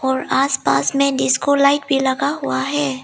और आस पास में डिस्को लाइट भी लगा हुआ है।